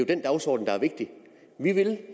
den dagsorden der er vigtig vi vil